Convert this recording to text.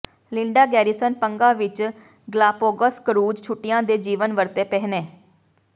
Linda Garrison ਪੰਗਾ ਵਿਚ Galapagos cruise ਛੁੱਟੀਆਂ ਦੇ ਜੀਵਨ ਵਰਤੇ ਪਹਿਨੇ